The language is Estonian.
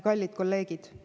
Kallid kolleegid!